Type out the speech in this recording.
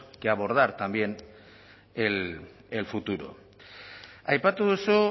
que abordar también el futuro aipatu duzu